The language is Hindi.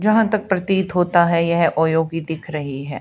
यहां तक प्रतीत होता है यह ओयो की दिख रही है।